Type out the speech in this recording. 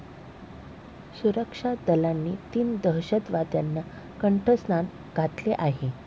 सुरक्षा दलांनी तीन दहशतवाद्यांना कंठस्नान घातले आहे.